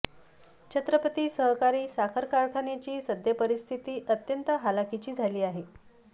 छत्रपती सहकारी साखर कारखान्याची सद्यपरिस्थिती अत्यंत हलाखीची झाली आहे